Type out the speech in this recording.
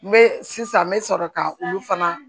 N bɛ sisan n bɛ sɔrɔ ka olu fana